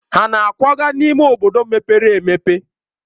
Ha na-akwaga n'ime obodo mepere emepe?